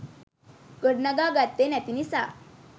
ගොඩනගා ගත්තෙ නැති නිසා